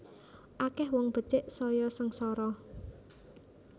Akeh wong becik saya sengsara